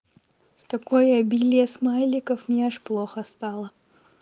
с такой обилие смайликов мне аж плохо стало